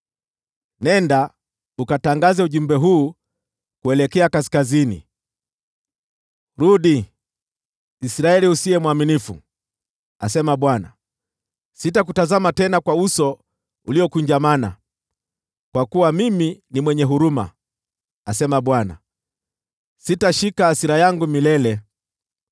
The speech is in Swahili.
Nenda, ukatangaze ujumbe huu kuelekea kaskazini: “ ‘Rudi, Israeli usiye mwaminifu,’ asema Bwana , ‘sitakutazama tena kwa uso uliokunjamana, kwa kuwa mimi ni mwenye huruma,’ asema Bwana , ‘Sitashika hasira yangu milele.